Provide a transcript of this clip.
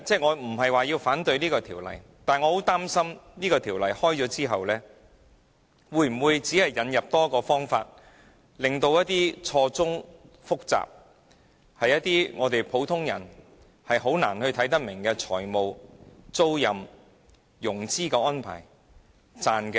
我無意反對是項《條例草案》，但我擔心《條例草案》獲得通過後，可能會引入多一個方法，令一些錯綜複雜，普通人難以明白的財務、租賃及融資安排得以蒙混過關。